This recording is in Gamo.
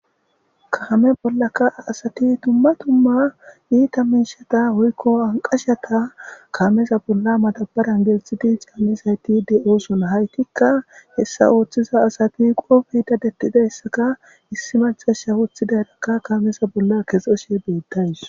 Kaame bollaka asati tumma tumma iita miishata hoykko anqashata kaameza bolla matabaran gelxhiti caamisayti de7oson haytikka hessa ooththiza asati qoofidadettidayssaka issi macasha wuththidayrakka kaamesa bolla kexeshe beettays.